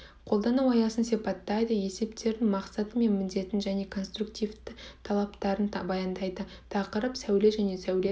қолдану аясын сипаттайды есептердің мақсаты мен міндетін және де конструктивті талаптарын баяндайды тақырып сәуле және сәуле